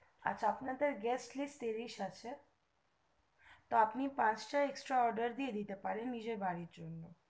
আচ্ছা আপনার gest list ত্রিশ আছে তো আপনি পাঁচ টা extra order দিতে পারেন নিজের বাড়ির জন্য